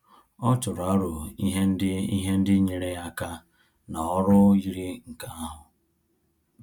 Ọ tụrụ arọ ihe ndị ihe ndị nyere ya aka ná ọrụ yiri nke ahu